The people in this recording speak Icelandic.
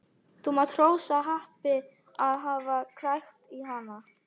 Þú mátt hrósa happi að hafa krækt í hana.